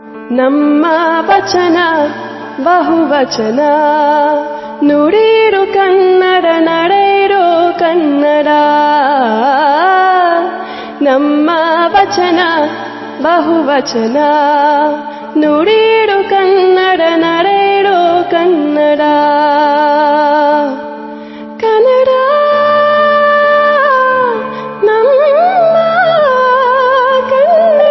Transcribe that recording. MKB E P 105 audio bite 2